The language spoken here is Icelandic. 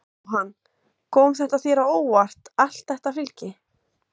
Jóhann: Kom þetta þér á óvart allt þetta fylgi?